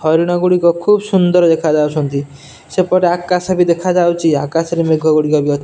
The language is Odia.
ହରିଣ ଗୁଡ଼ିକ ଖୁବ୍ ସୁନ୍ଦର୍ ଦେଖାଯାଉଛନ୍ତି ସେପଟେ ଆକାଶ ବି ଦେଖା ଯାଉଚି ଆକାଶରେ ମେଘ ଗୁଡ଼ିକ ବି ଅ --